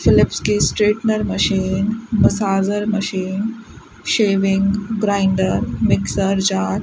Philips की straightener machine massager machine shaving grinder mixer jar --